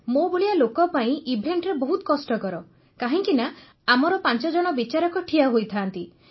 ମୋ ଭଳିଆ ଲୋକ ପାଇଁ ଇଭେଣ୍ଟ୍ରେ ବହୁତ କଷ୍ଟକର କାହିଁକିନା ଆମର ପାଞ୍ଚଜଣ ବିଚାରକ ଠିଆ ହୋଇଥାନ୍ତି